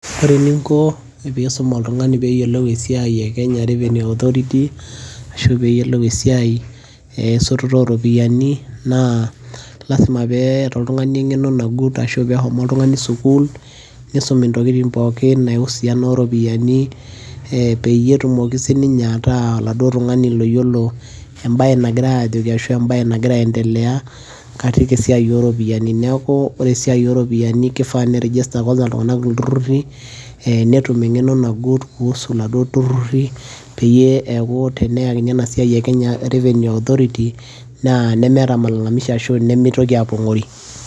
ore eninko pee iisum oltungani pee eyiolou esiai e kenya revenue authority. ashu pee eyiolou esiai esototo ooropiyiani, naa lasima pee eeta oltungani engeno nagut, ashu pee ehomo oltungani sukuul, nisumi intokitin pookin, niusiana oropiyiani, peyie etumoki sii ninye ataa oladuo tungani loyiolo ebae nagirae aajoki ashu ebae ,nagira aendelea katikavesiai ooropiyiani. neeku ore esiai ooropiyiani keifaa nei register iltunganak kulo tururi peyie eeku, eneyakini ena siai e kenya revenue authority naa nemeeta malalmishi ashu nemeitoki aapong'ori.